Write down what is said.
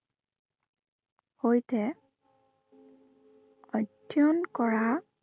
সৈতে অধ্য়য়ন কৰা